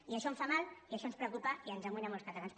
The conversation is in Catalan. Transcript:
i això em fa mal i això ens preocupa i ens amoïna a molts catalans